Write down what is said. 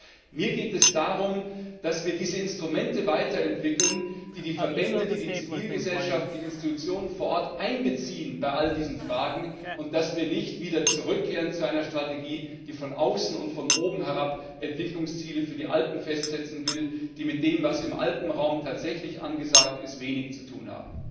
Das heißt, mir geht es darum, dass wir diese Instrumente weiterentwickeln, die die Verbände, die Zivilgesellschaft, die Institutionen vor Ort einbeziehen bei all diesen Fragen, und dass wir nicht wieder zurückkehren zu einer Strategie, die von außen und von oben herab Entwicklungsziele für die Alpen festsetzen will, die mit dem, was im Alpenraum tatsächlich angesagt ist, wenig zu tun haben.